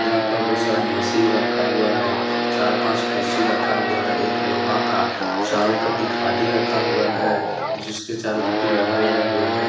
यहां पर बहुत सारा मशीन रखा हुआ है चार पांच कुर्सी रखा हुआ है एक लोहा का चारों पट्टी खाटी रखा हुआ है जिसके चारों पट्टी लोहा लगा हुआ है।